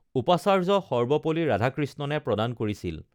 উপাচাৰ্য সৰ্বপল্লী ৰাধাকৃষ্ণণে প্ৰদান কৰিছিল